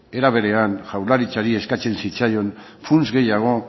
era berean jaurlaritzari eskatzen zitzaion funts gehiago